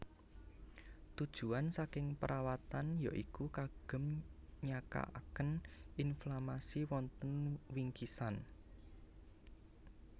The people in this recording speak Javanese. Tujuan saking perawatan ya iku kagem nyakaken inflamasi wonten wingkisan